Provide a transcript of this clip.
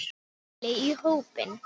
Lúlli í hópinn.